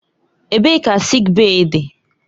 Ebee ka sịịk bèyí dị?